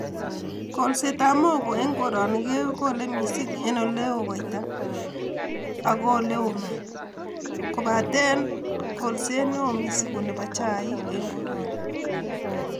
kolseetab mogo eng koroni kekole missing eng oleoo koita ak oleoo maat, kobateen kolseet neo missing ko nebo chaik eng koroni.